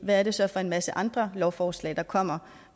hvad er det så for en masse andre lovforslag der kommer